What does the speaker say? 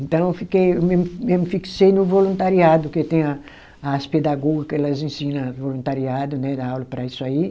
Então eu fiquei, eu mesmo eu me fixei no voluntariado, que tem a as pedagoga que elas ensina voluntariado, né dá aula para isso aí.